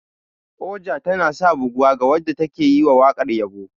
Oja tanasa buguwa ga wanda take yiwa wakar yabo.